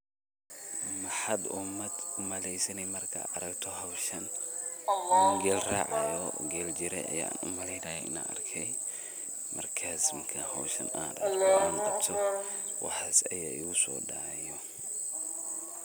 Maxat umaleysay ini Marka aragtoh hooshan, feel raca geel jire aya umalaeynaya ini argay, marka hooshan an arkoh waxan Aya igubso dacayo .